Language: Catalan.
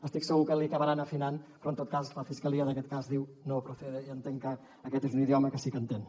estic segur que li acabaran afinant però en tot cas la fiscalia d’aquest cas diu no procede i entenc que aquest és un idioma que sí que entén